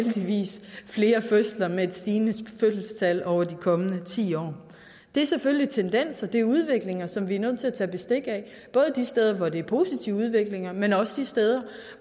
flere fødsler med et stigende fødselstal over de kommende ti år det er selvfølgelig tendenser det er udviklinger som vi er nødt til at tage bestik af både de steder hvor det er en positiv udvikling men også de steder